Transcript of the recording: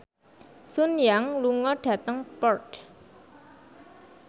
Sun Yang lunga dhateng Perth